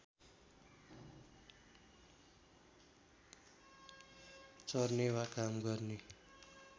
चर्ने वा काम गर्ने